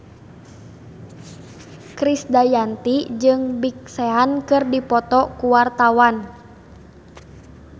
Krisdayanti jeung Big Sean keur dipoto ku wartawan